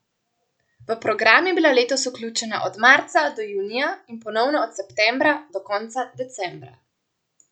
V program je bila letos vključena od marca do junija in ponovno od septembra do konca decembra.